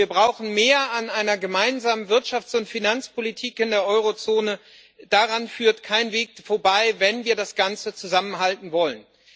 Wir brauchen mehr an einer gemeinsamen Wirtschafts und Finanzpolitik in der Eurozone daran führt kein Weg vorbei, wenn wir das Ganze zusammenhalten wollen.